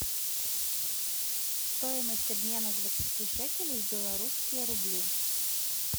стоимость обмена двадцати шекелей в белорусские рубли